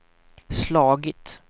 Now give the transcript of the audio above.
slagit